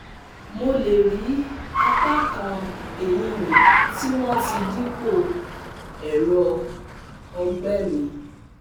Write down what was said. mo lè rí apá kan eyín mi tí wọ́n ti dípò ẹ̀rọ ọ̀gbẹ́ mi